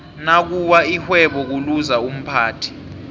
nakuwa ixhwebo kuluza umphathi